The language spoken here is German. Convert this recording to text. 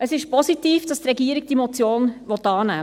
Es ist positiv, dass die Regierung diese Motion annehmen will;